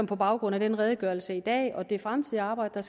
på baggrund af redegørelsen i dag og under det fremtidige arbejde